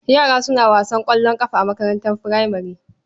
Yara suna wasan ƙwallon ƙafa a makarantar furamare.